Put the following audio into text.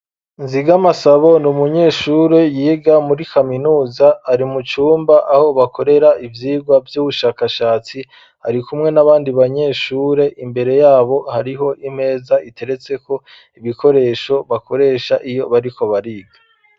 Nziga amasabo ni umunyeshure yiga muri kaminuza ari mucumba aho bakorera ivyirwa vy'ubushakashatsi ari kumwe n'abandi banyeshure imbere yabo hariho imeza iteretseko ibikoresho bakoresha iyo bariko bariga.